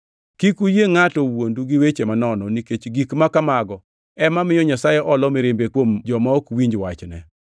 Kik uyie ngʼato wuondu gi weche manono, nikech gik ma kamago ema miyo Nyasaye olo mirimbe kuom joma ok winj wachne.